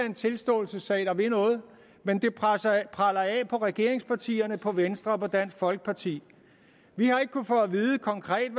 en tilståelsessag der vil noget men det preller af på regeringspartierne på venstre og på dansk folkeparti vi har ikke konkret